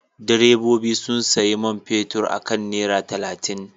Direbobi sun sayi man fetur akan naira talatin.